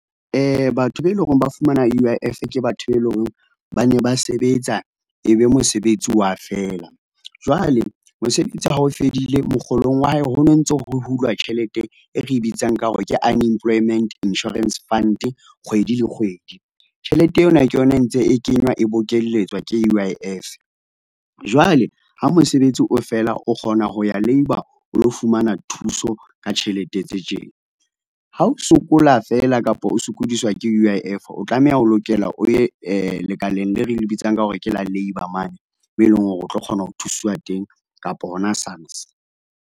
Batho be eleng hore ba fumana U_I_F ke batho be eleng hore ba ne ba sebetsa e be mosebetsi wa fela. Jwale mosebetsi ha o fedile mokgolong wa hae ho no ntso ho hulwa tjhelete e re bitsang ka hore ke Unemployment Insurance Fund kgwedi le kgwedi. Tjhelete ena ke yona e ntse e kenywa e bokelletswa ke u U_I_F. Jwale ha mosebetsi o fela o kgona ho ya labour, o lo fumana thuso ka tjhelete tse tjena. Ha o sokola fela, kapa o sokodiswa ke U_I_F, o tlameha o lokela o ye lekaleng leo re le bitsang ka hore ke la labour mane moo eleng hore o tlo kgona ho thuswa teng kapa hona SARS.